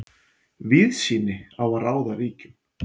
Víðsýni á að ráða ríkjum.